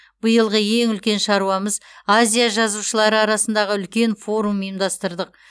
биылғы ең үлкен шаруамыз азия жазушылары арасындағы үлкен форум ұйымдастырдық